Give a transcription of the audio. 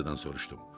Elizadan soruşdum.